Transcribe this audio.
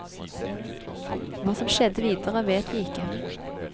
Hva som skjedde videre vet vi ikke.